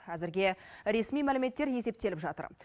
әзірге ресми мәліметтер есептеліп жатыр